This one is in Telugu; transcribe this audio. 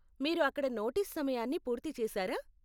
మీరు అక్కడ నోటీస్ సమయాన్ని పూర్తి చేశారా?